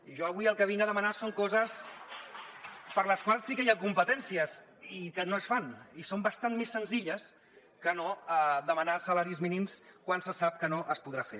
i jo avui el que vinc a demanar són coses per a les quals sí que hi ha competències i que no es fan i són bastant més senzilles que no demanar salaris mínims quan se sap que no es podrà fer